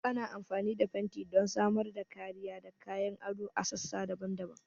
Ana amfani da fenti don samar da kariya da kayan ado a kan sassa daban-daban.